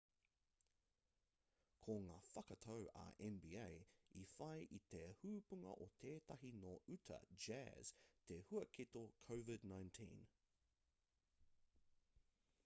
ko ngā whakatau a nba i whai i te hopunga o tētahi nō uta jazz te huaketo covid-19